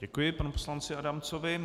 Děkuji panu poslanci Adamcovi.